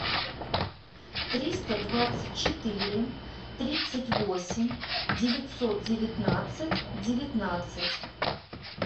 триста двадцать четыре тридцать восемь девятьсот девятнадцать девятнадцать